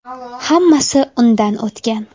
Hammasi undan o‘tgan.